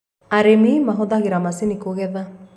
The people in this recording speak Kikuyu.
arĩmi marahũthira macinĩ kugetha